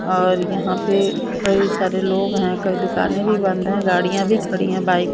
और यहां पे कई सारे लोग हैं कई दुकानें भी बंद है गाड़ियां भी खड़ी है बाइक --